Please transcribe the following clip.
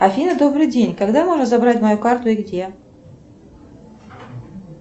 афина добрый день когда можно забрать мою карту и где